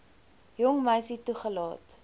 jong meisie toelaat